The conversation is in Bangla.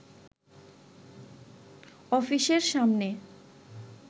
অফিসের সামনে